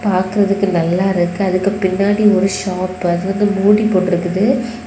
பாக்குறதுக்கு நல்லா இருக்கு அதுக்கு பின்னாடி ஒரு ஷாப்பு அதுக்கு மூடி போட்ருக்குது.